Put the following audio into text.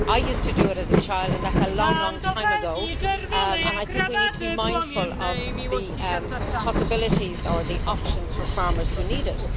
I used to do it as a child, and that is long, long time ago. I think we need to be mindful of the possibilities or the options for farmers who need it.